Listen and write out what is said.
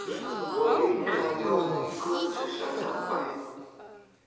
Og líka Jón í Götu, sagði Abba hin.